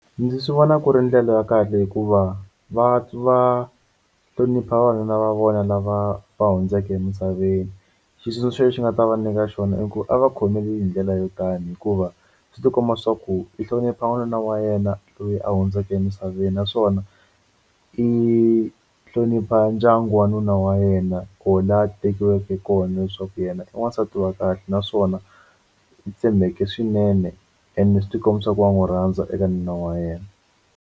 Ndzi swi vona ku ri ndlela ya kahle hikuva va va hlonipha vavanuna va vona lava va hundzeke emisaveni xitsundzuxo lexi nga ta va nyika xona i ku a va khomile hi ndlela yo tani hikuva swi tikomba swa ku i hlonipha n'wanuna wa yena loyi a hundzeke emisaveni naswona i hlonipha ndyangu wa nuna wa yena ko la a tekiweke kona leswaku yena i wansati wa kahle naswona tshembeke swinene ene swi ti komba swa ku wa n'wi rhandza eka nuna wa yena.